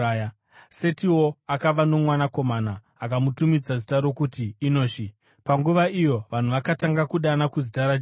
Setiwo akava nomwanakomana, akamutumidza zita rokuti Enoshi. Panguva iyo vanhu vakatanga kudana kuzita raJehovha.